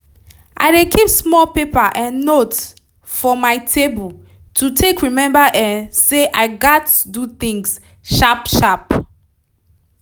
i dey keep small paper um note for my table to take remember um say i gats do things sharp sharp